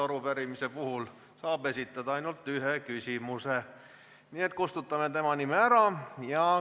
Arupärimise puhul saab esitada ainult ühe küsimuse, nii et kustutame tema nime ära.